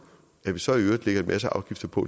at vi så i øvrigt lægger en masse afgifter på